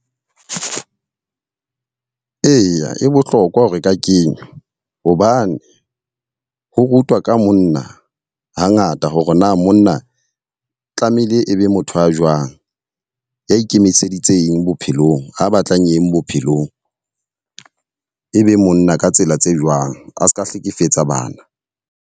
Eya, e bohlokwa ho re ka kenya. Hobane ho rutwa ka monna ha ngata hore na monna tla tlamehile e be motho a jwang, ya ikemiseditseng bophelong, a batlang eng bophelong. E be monna ka tsela tse jwang, a seka hlekefetsa bana.